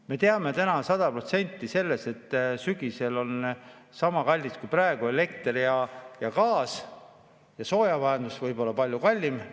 Me teame täna sada protsenti, et sügisel on elekter ja gaas niisama kallis kui praegu ja soojamajandus võib minna palju kallimaks.